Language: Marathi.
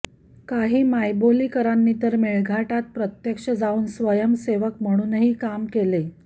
काही मायबोलीकरांनी तर मेळघाटात प्रत्यक्ष जावून स्वयंसेवक म्हणूनही काम केले